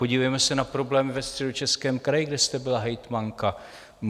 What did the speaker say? Podívejme se na problém ve Středočeském kraji, kde jste byla hejtmanka.